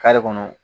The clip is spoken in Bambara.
kɔnɔ